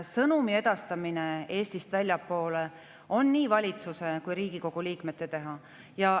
Sõnumi edastamine Eestist väljapoole on nii valitsuse kui ka Riigikogu liikmete teha.